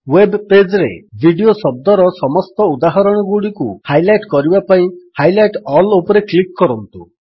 web page ରେ video ଶବ୍ଦର ସମସ୍ତ ଉଦାହରଣଗୁଡ଼ିକୁ ହାଇଲାଇଟ୍ କରିବା ପାଇଁ ହାଇଲାଇଟ୍ ଅଲ୍ ଉପରେ କ୍ଲିକ୍ କରନ୍ତୁ